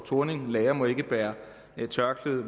thorning lærere må ikke bære tørklæde